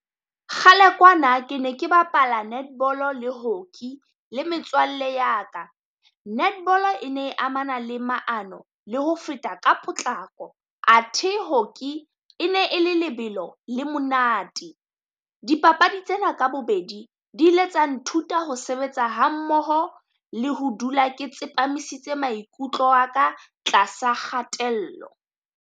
Kgale kwana ke ne ke bapala netball-o le hockey le metswalle ya ka, netball-o e ne e amana le maano le ho feta ka potlako, athe hockey e ne e lebelo la monate. Dipapadi tsena ka bobedi di ile tsa nthuta ho sebetsa hammoho le ho dula ke tsepamisitse maikutlo a ka tlasa kgatello.